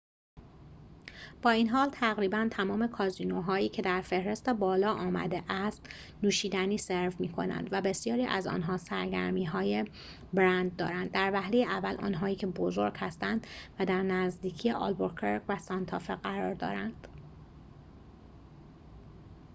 با این حال، تقریباً تمام کازینوهایی که در فهرست بالا آمده است نوشیدنی سرو می‌کنند و بسیاری از آن‌ها سرگرمی‌های برند دارند در وهله اول آنهایی که بزرگ هستند و در نزدیکی آلبوکرک و سانتافه قرار دارند